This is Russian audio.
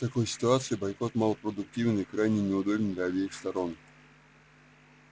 в такой ситуации бойкот малопродуктивен и крайне неудобен для обеих сторон